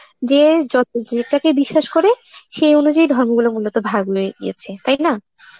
যে যত~ যেটাকে বিশ্বাস করে, সেই অনুযায়ী গিয়েছে, তাই না?